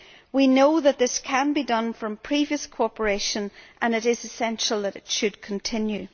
We know that this can be done from previous cooperation and it is essential that it should continue.